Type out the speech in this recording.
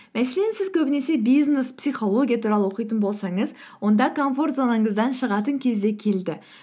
мәселен сіз көбінесе бизнес психология туралы оқитын болсаңыз онда комфорт зонаңыздан шығатын кез де келді